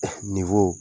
nin